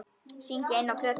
Syngja inná plötu.